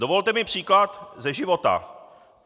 Dovolte mi příklad ze života.